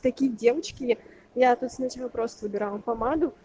такие девочки я тут сначала просто выбирала помаду